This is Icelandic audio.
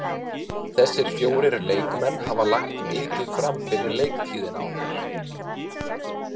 Þessir fjórir leikmenn hafa lagt mikið fram fyrir leiktíðina okkar.